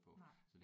Nej